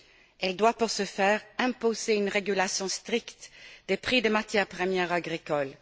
Elle doit, pour ce faire, imposer une régulation stricte des prix des matières premières agricoles.